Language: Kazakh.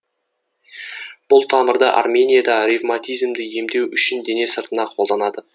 бұл тамырды арменияда ревматизмді емдеу үшін дене сыртына қолданады